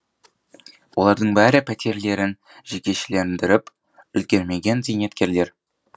олардың бәрі пәтерлерін жекешелендіріп үлгермеген зейнеткерлер